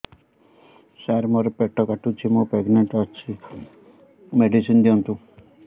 ସାର ମୋର ପେଟ କାଟୁଚି ମୁ ପ୍ରେଗନାଂଟ ଅଛି ମେଡିସିନ ଦିଅନ୍ତୁ